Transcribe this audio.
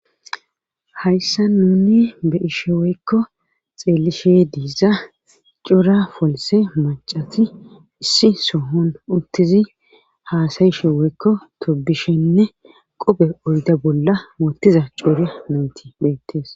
hayssa nuni be ishe woykko xeellishe diiza cuura folse macati issi sohon uttizi haasayishe woykko tobishenne qope oyda bolla mootiza cuuria nanti beettes